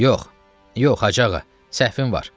Yox, yox, Hacı ağa, səhvin var.